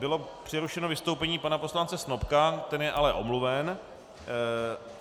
Bylo přerušeno vystoupení pana poslance Snopka, ten je ale omluven.